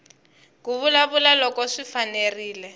ku vulavula loko swi fanerile